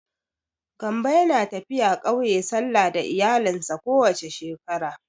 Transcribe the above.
Gambo yana tafiya ƙauye sallah da iyalinsa ko wace shekara.